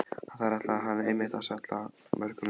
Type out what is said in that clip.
Þar ætlaði hann einmitt að salla mörkunum inn!